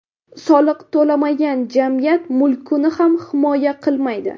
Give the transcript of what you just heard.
Soliq to‘lamagan, jamiyat mulkini ham himoya qilmaydi.